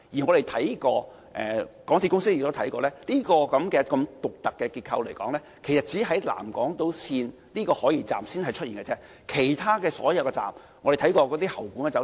港鐵公司亦查看過，這種獨特結構只出現在南港島線的海怡半島站，而其他所有車站的結構均並非這樣。